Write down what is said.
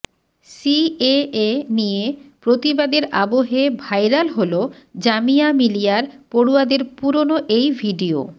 CAA নিয়ে প্রতিবাদের আবহে ভাইরাল হল জামিয়া মিলিয়ার পড়ুয়াদের পুরনো এই ভিডিয়ো